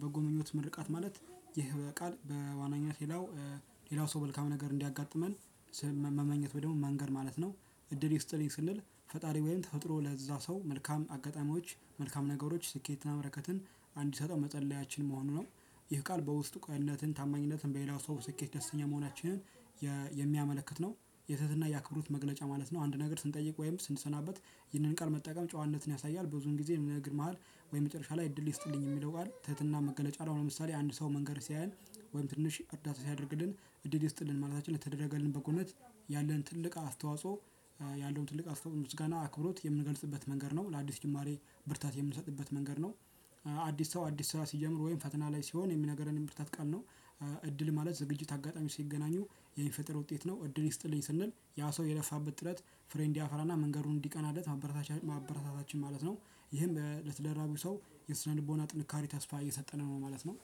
በጎ ምኞት ምርቃት ማለት ይህ ቃል በዋነኝነት ሌላው ሌላው ሰው መልካም ነገር እንዲያጋጥመን- መመኘት ደግሞ መንገር ማለት ነው። እድል ይስጥልኝ ስንል ፈጣሪ ወይም ተፈጥሮ ለዛ ሰው መልካም አጋጣሚዎች መልካም ነገሮች ስኬትና በረከትን አንዲሰጠው መፀለይአችን መሆኑ ነው። ይህ ቃል በውስጥ ቅንነትን ታማኝነትን በሌላው ሰው ስኬት ደስተኛ መሆናችንን የሚያመለክት ነው። የትህትና የአክብሮት መግለጫ ማለት ነው። አንድ ነገር ስንጠይቅ ወይም ስንሰናበት ይህንን ቃል መጠቀም ጨዋነትን ያሳያል። ብዙን ጊዜ በንግግር መሃል ወይ መጨረሻ ላይ እድል ይስጥልኝ የሚለው ቃል ትህትና መገለጫ ነው። ለምሳሌ አንድ ሰው መንገድ ሲያየን ወይም ትንሽ እርዳታ ሲያደርግልን እድል ይስጥልን ማለትአችን ለተደረገልን በጎነት ያለን ትልቅ አስተዋጽኦ ያለውን ትልቅ አስተዋጽኦ ውስጥ ምስጋና አክብሮት የምንገልጽበት መንገድ ነው። ለአዲስ ጅማሬ- ብርታት የምንሰጥበት መንገድ ነው። አዲስ ሰው አዲስ ስራ ሲጀምር ወይም ፈተና ላይ ሲሆን የሚነግረንም የብርታት ቃል ነው። እድል ማለት ዝግጅት አጋጣሚ ሲገናኙ የሚፈጠር ውጤት ነው። እድል ይስጥልኝ ስንል ያ ሰው የለፋበት ጥረት ፍሬ እድያፈራ ና መንገዱ እንዲቀናለት ማበረታታችን ማለት ነው። ይህም በትዳር ውስጥ ላለ ሰው የስነ ልቦና ጥንካሬ ተስፋ እየሰጠነው ነው ማለት ነው።